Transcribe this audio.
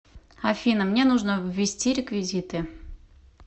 афина мне нужно ввести реквизиты